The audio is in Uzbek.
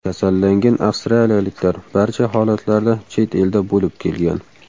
Kasallangan avstraliyaliklar barcha holatlarda chet elda bo‘lib kelgan.